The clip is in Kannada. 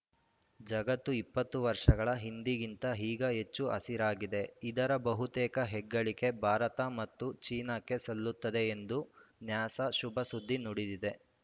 ಜಗತ್ತು ಇಪ್ಪತ್ತು ವರ್ಷಗಳ ಹಿಂದಿಗಿಂತ ಈಗ ಹೆಚ್ಚು ಹಸಿರಾಗಿದೆ ಇದರ ಬಹುತೇಕ ಹೆಗ್ಗಳಿಕೆ ಭಾರತ ಮತ್ತು ಚೀನಾಕ್ಕೆ ಸಲ್ಲುತ್ತದೆ ಎಂದು ನ್ಯಾಸಾ ಶುಭ ಸುದ್ದಿ ನುಡಿದಿದೆ